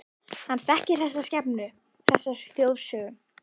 Hann þekkir þessa skepnu, þessa þjóðsögu.